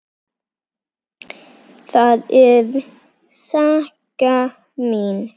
Það er saga mín.